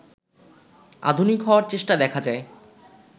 আধুনিক হওয়ার চেষ্টা দেখা যায়